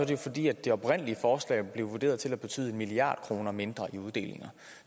jo fordi det oprindelige forslag blev vurderet til at betyde en milliard kroner mindre til uddelinger